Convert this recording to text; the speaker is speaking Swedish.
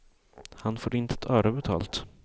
Han får inte ett öre betalt.